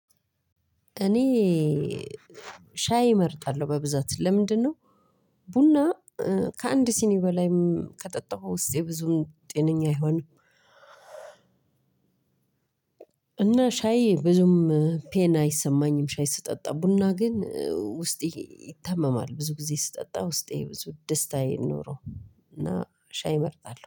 እኔ ሻይ እመርጣለሁ በብዛት ለምንድነው ቡና ከአንድ ሲኒ በላይም ከጠጣሁ ውስጥ ብዙም ጤነኛ አይሆንም። እና ሻይ ብዙም ፔን አይሰማኝም ሻይ ስጠጣ ቡና ግን ውስጤ ይታመማል ብዙ ጊዜ ስጠጣ ውስጤ ብዙም ደስታ አይኖረውም። እና ሻይ እመርጣለሁ